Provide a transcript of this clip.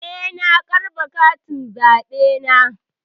Eh, na karɓa katin zaɓena.